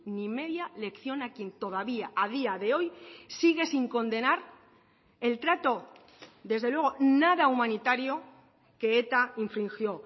ni media lección a quien todavía a día de hoy sigue sin condenar el trato desde luego nada humanitario que eta infringió